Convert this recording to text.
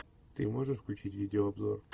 ты можешь включить видеообзор